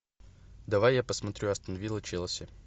давай я посмотрю астон вилла челси